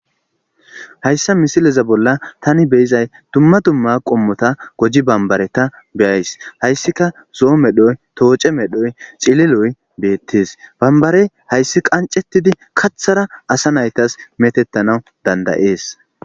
hayssa misileza bolla tani beyizay dumma dumma qommota goji bambareta beyays hayssika zoo medhoy tooce medhoy cililoy beettes bambarey hayssi qancettidi kathara asa naytas metettanawu dandayees